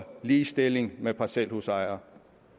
ligestilles med parcelhusejere